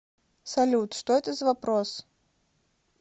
салют что это за вопрос